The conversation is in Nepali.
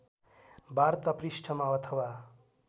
वार्ता पृष्ठमा अथवा